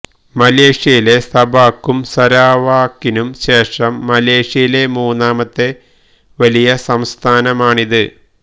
മലേഷ്യയിലെ സബാക്കും സരാവാക്കിനും ശേഷം മലേഷ്യയിലെ മൂന്നാമത്തെ വലിയ സംസ്ഥാനമാണിത്